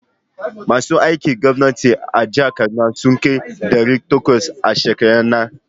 Masu aikin gwamnati a jihar Kaduna sun kai ɗari takwas a shekaran nan.